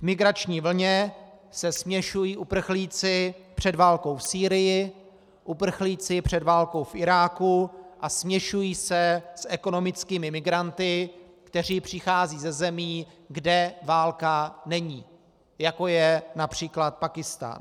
V migrační vlně se směšují uprchlíci před válkou v Sýrii, uprchlíci před válkou v Iráku a směšují se s ekonomickými migranty, kteří přicházejí ze zemí, kde válka není, jako je například Pákistán.